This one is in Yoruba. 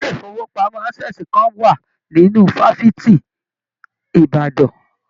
ilé ifowopamọ Access kàn wá nínú fafiti Ìbàdàn.